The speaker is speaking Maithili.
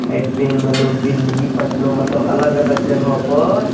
इ ट्रैन में लोग दिल्ली पटना मतलब अलग-अलग जगह पर --